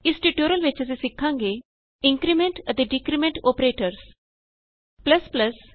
ਇਸ ਟਯੂਟੋਰੀਅਲ ਵਿਚ ਅਸੀਂ ਸਿਖਾਂਗੇ ਇੰਕਰੀਮੈਂਟ ਅਤੇ ਡਿਕਰੀਮੈਂਟ ਅੋਪਰੇਟਰਸ